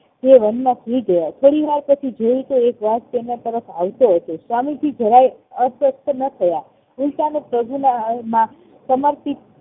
તે વન માં સુઈ ગયા થોડી વાર પછી જોયું તો એક વાઘ તેમના તરફ આવતો હતો સ્વામીજી જરાય અસ્ત વ્યસ્ત ન થયા ઉલ્ટાના પ્રભુના માં સમર્પિત